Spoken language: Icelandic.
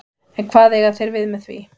En hvað eiga þeir við með því?